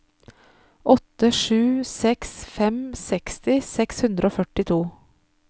åtte sju seks fem seksti seks hundre og førtito